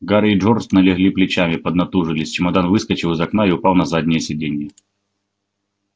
гарри и джордж налегли плечами поднатужились чемодан выскочил из окна и упал на заднее сиденье